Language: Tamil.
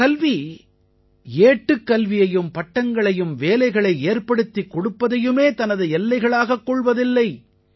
இந்தக் கல்வி ஏட்டுக்கல்வியையும் பட்டங்களையும் வேலைகளை ஏற்படுத்திக் கொடுப்பதையுமே தனது எல்லைகளாகக் கொள்வதில்லை